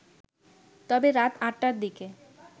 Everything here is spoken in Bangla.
তবে রাত ৮টার দিকে